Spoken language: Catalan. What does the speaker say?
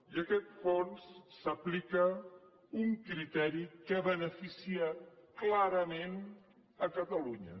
i en aquest fons s’aplica un criteri que beneficia clarament catalunya